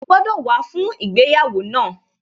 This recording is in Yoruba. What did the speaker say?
O gbọ́dọ̀ wá fún ìgbéyàwó náà